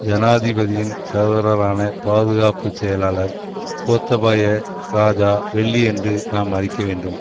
ஜனாதிபதியின் சகோதரரான பாதுகாப்பு செயலாளர் கோத்தபாய இராஜா வெள்ளியன்று நாம் அழிக்க வேண்டும்